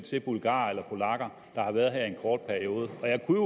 bulgarer eller polakker der har været her i en kort periode jeg kunne